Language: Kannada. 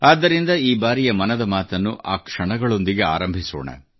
ಆದ್ದರಿಂದ ಈ ಬಾರಿಯ ಮನದ ಮಾತನ್ನು ಆ ಕ್ಷಣಗಳೊಂದಿಗೆ ಆರಂಭಿಸೋಣ